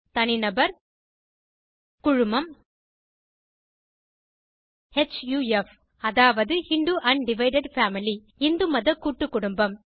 தனிநபர் குழுமம் ஹஃப் அதாவது Hindu un divided family Hindu மத கூட்டுக்குடும்பம்